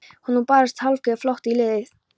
Nú brast hálfgerður flótti í liðið.